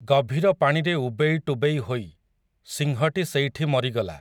ଗଭୀର ପାଣିରେ ଉବେଇ ଟୁବେଇ ହୋଇ, ସିଂହଟି ସେଇଠି ମରିଗଲା ।